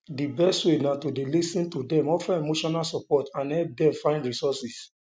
di best way na to dey lis ten to dem offer emotional support and help dem find resources um